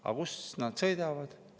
Aga kus nad sõidavad?